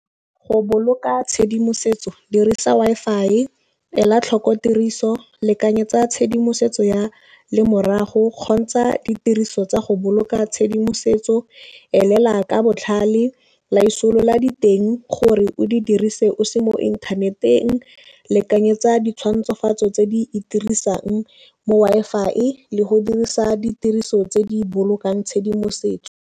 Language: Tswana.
Go boloka tshedimosetso dirisa Wi-Fi, ela tlhoko tiriso, lekane tsa tshedimosetso ya lemorago, kgontsha ditiriso tsa go boloka tshedimosetso, elela ka botlhale, laisolola diteng gore o di dirise o se mo inthaneteng, lekanyetsa ditshwantshofatso tse di itirisang mo Wi-Fi, le go dirisa ditiriso tse di bolokang tshedimosetso.